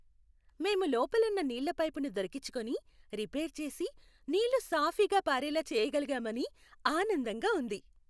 మేము లోపలున్న నీళ్ళ పైపును దొరికిచ్చుకొని, రిపేర్ చేసి, నీళ్ళు సాఫీగా పారేలా చేయగలిగామని ఆనందంగా ఉంది.